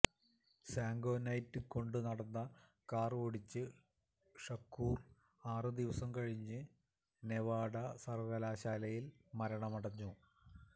Suge Knight കൊണ്ടുനടന്ന car ഓടിച്ച് Shakur ആറു ദിവസം കഴിഞ്ഞ് നെവാഡാ സർവ്വകലാശാലയിൽ മരണമടഞ്ഞു